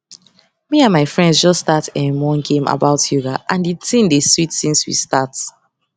me and my friends just start erm one game about yoga and di thing dey sweet since we start